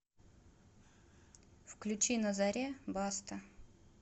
включи на заре баста